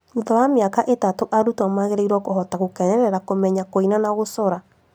Thutha wa mĩaka itatũ arutwo magĩrĩirwo kũhota gũkenerera kũmenya kũina na gũcora